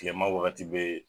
Kilema wagati bɛ yen